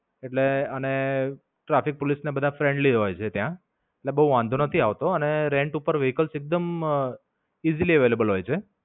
એટલે અને Traffic Police ને બધા friendly હોય છે ત્યાં. એટલે બોવ વાંધો નથી આવતો અને rant પર વ્હીકલ્સ એકદમ rent easily available હોય છે.